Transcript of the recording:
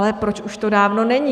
Ale proč už to dávno není?